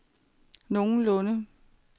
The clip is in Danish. nogenlunde